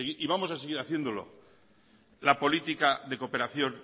y vamos a seguir haciéndolo la política de cooperación